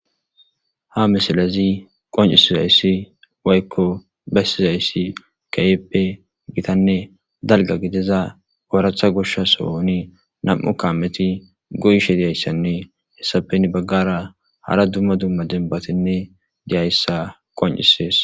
Ha misilezi qoncisizayssi waykko beyssizayssi kayeppe gitanne dalga gidiza pooratha goshsha sohoni nam'u kameti goyishe diyayssanne hessapen baggara hara dumma dumma denbatinne diyayssa qoncisees.